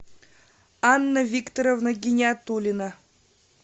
анна викторовна гиниатуллина